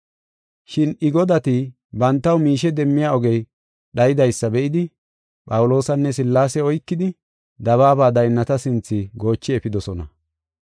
Shin I godati bantaw miishe demmiya ogey dhayidaysa be7idi, Phawuloosanne Sillaase oykidi, dabaaba daynnata sinthe goochi efidosona.